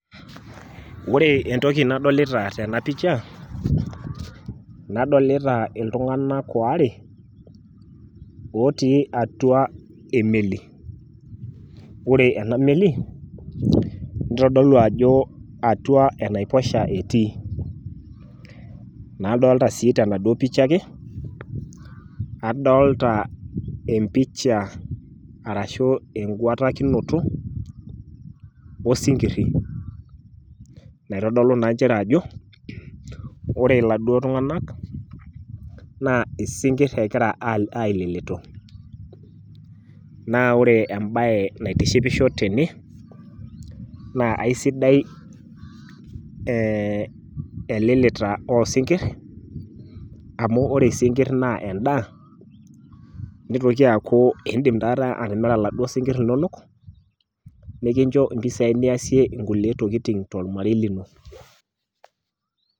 Ore entoki nadolita tenapicha nadolita iltunganak waare otii atua emeli, ore ena meli , nitodolu ajo atua enaiposha etii. Nadolta sii tenaduo picha ake , adolta empicha arashu eguatakinoto osinkiri, naitodolu naa nchere ajo ore iladuo tunganak naa isinkir egira aililitu .Naa ore embae naitishipisho tene naa aisidai elilita osinkir amu ore isinkir naa endaa , nitoki aaku indim atimira iladuo sinkir linonok, nikincho impisai niasie kulie tokitin tormarei lino.